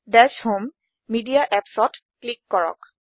দাশ home media Appsত click কৰক